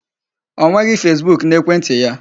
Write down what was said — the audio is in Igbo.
O nweghị Facebook n'ekwentị ya.